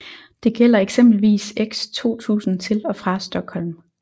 Det gælder eksempelvis X 2000 til og fra Stockholm